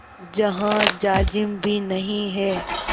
जहाँ जाजिम भी नहीं है